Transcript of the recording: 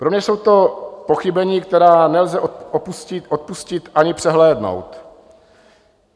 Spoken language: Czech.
Pro mě jsou to pochybení, která nelze odpustit ani přehlédnout.